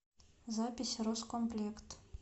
запись роскомплект